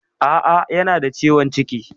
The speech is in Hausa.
A'a, yana da ciwon ciki.